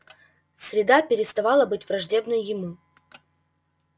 среда переставала быть враждебной ему